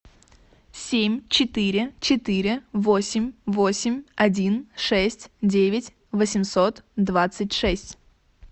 семь четыре четыре восемь восемь один шесть девять восемьсот двадцать шесть